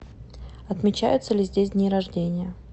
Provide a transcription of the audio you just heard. отмечаются ли здесь дни рождения